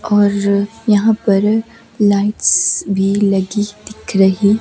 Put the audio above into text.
और यहां पर लाइट्स भी लगी दिख रही--